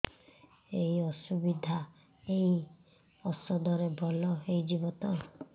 ଏଇ ଅସୁବିଧା ଏଇ ଔଷଧ ରେ ଭଲ ହେଇଯିବ ତ